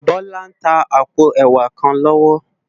Bola n tá àpó èwá kán lòwò